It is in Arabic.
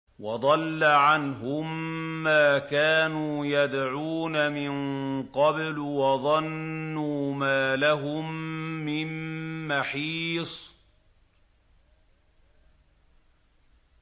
وَضَلَّ عَنْهُم مَّا كَانُوا يَدْعُونَ مِن قَبْلُ ۖ وَظَنُّوا مَا لَهُم مِّن مَّحِيصٍ